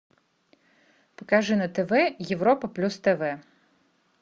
покажи на тв европа плюс тв